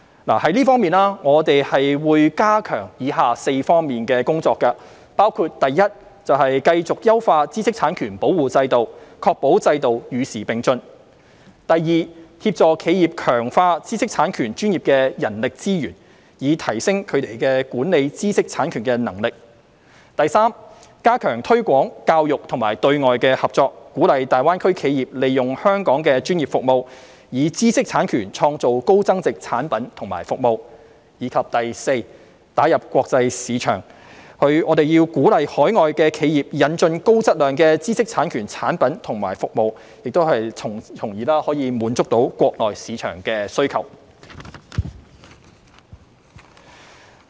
就這方面，我們會加強以下4方面的工作，包括一繼續優化知識產權保護制度，確保制度與時並進；二協助企業強化知識產權專業的人力資源，以提升它們管理知識產權的能力；三加強推廣、教育和對外合作，鼓勵粵港澳大灣區企業利用香港的專業服務，以知識產權創造高增值產品及服務；及四打入國際市場，我們要鼓勵海外企業引進高質量知識產權產品及服務，從而滿足國內市場的需求。